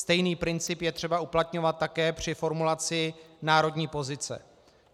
Stejný princip je třeba uplatňovat také při formulaci národní pozice.